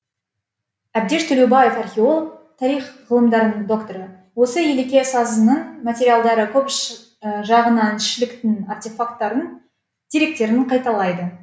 әбдеш төлеубаев археолог тарих ғылымдарының докторы осы елеке сазының материалдары көп жағынан шіліктінің артефактарын деректерін қайталайды